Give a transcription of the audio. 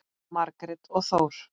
Margrét og Þór.